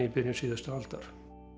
í byrjun síðustu aldar